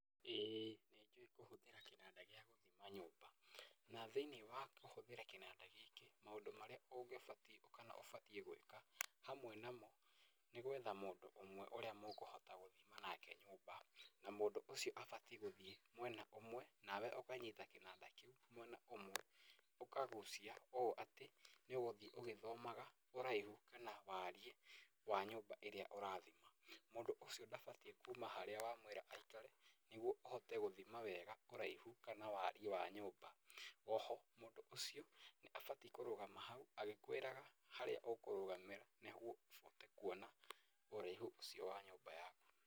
Ĩĩ nĩnjũĩ kũhũthĩra Kinanda gĩa gũthima nyũmba, na thĩiniĩ wa kũhũthĩra kĩnanda gĩkĩ, maũndũ marĩa ũngĩbatiĩ kana ũbatiĩ gwĩka, hamwe namo, nĩ gwetha mũndũ ũmwe ũrĩa mũkũhota gũthima nake nyũmba, na mũndũ ũcio abatiĩ gũthiĩ mwena ũmwe, nawe ũkanyita kĩnanda kĩu mwena ũmwe, ũkagucia ũũ atĩ nĩũgũthiĩ ũgĩthomaga ũraihu, kana wariĩ wa nyũmba ĩrĩa ũrathima. Mũndũ ũcio ndabatiĩ kuuma harĩa wamwĩra aikare, nĩguo ĩhote gũthima wega ũraihu kana wariĩ wa nyũmba. Oho, mũndũ ũcio, nĩ abatiĩ kũrũgama hau, agĩkwĩraga harĩa ũkũrũgamĩra nĩguo ũhote kuona ũraihu ũcio wa nyũmba yaku.